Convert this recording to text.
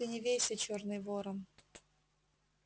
ты не вейся чёрный ворон